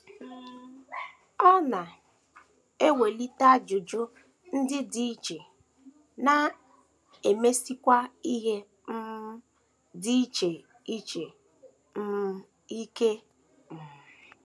Ọ na - ewelite ajụjụ ndị dị iche, na - emesikwa ihe um ndị dị iche ike um.